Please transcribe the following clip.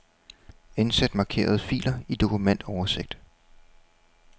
Indsæt markerede filer i dokumentoversigt.